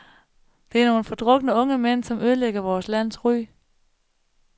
Det er nogle fordrukne, unge mænd, som ødelægger vores lands ry.